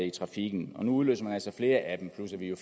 i trafikken og nu udløser man altså flere af dem plus at vi jo